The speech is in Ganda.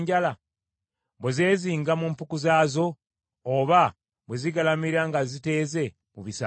bwe zeezinga mu mpuku zaazo, oba bwe zigalamira nga ziteeze mu bisaka?